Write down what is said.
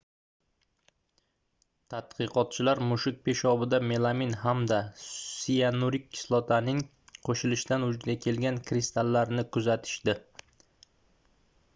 tadqiqotchilar mushuk peshobida melamin hamda siyanurik kislotaning qoʻshilishidan vujudga kelgan kristallarni kuzatishdi